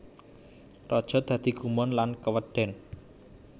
Raja dadi gumun lan keweden